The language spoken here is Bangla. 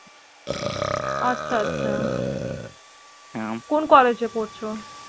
আচ্ছা আচ্ছা। হম কোন college এ পড়ছো?